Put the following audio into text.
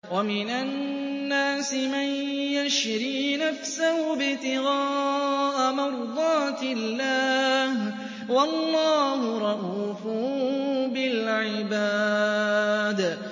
وَمِنَ النَّاسِ مَن يَشْرِي نَفْسَهُ ابْتِغَاءَ مَرْضَاتِ اللَّهِ ۗ وَاللَّهُ رَءُوفٌ بِالْعِبَادِ